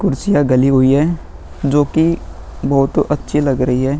कुर्सियां गली हुई है जोकि बोहोत अच्छी लग रही है।